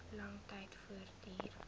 lang tyd voortduur